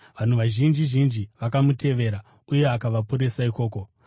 Vanhu vazhinji zhinji vakamutevera uye akavaporesa ikoko.